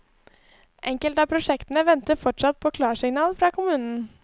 Enkelte av prosjektene venter fortsatt på klarsignal fra kommunen.